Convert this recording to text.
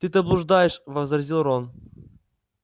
ты то блуждаешь возразил рон